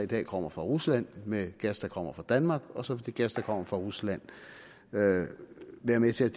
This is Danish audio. der kommer fra rusland med gas der kommer fra danmark og så vil den gas der kommer fra rusland være være med til